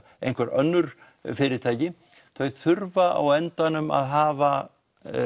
einhver önnur fyrirtæki þau þurfa á endanum að hafa